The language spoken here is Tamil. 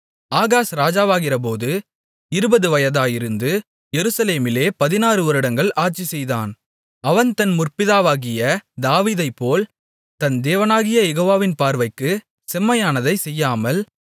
ஆகாஸ் ராஜாவாகிறபோது இருபது வயதாயிருந்து எருசலேமிலே பதினாறுவருடங்கள் ஆட்சிசெய்தான் அவன் தன் முற்பிதாவாகிய தாவீதைப்போல் தன் தேவனாகிய யெகோவாவின் பார்வைக்குச் செம்மையானதைச் செய்யாமல்